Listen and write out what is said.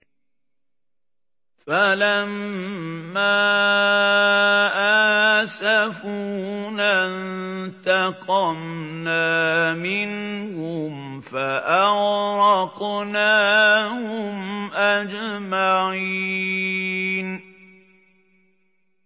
فَلَمَّا آسَفُونَا انتَقَمْنَا مِنْهُمْ فَأَغْرَقْنَاهُمْ أَجْمَعِينَ